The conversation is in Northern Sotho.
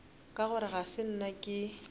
gore ga se nna ke